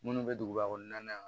Minnu bɛ duguba kɔnɔna na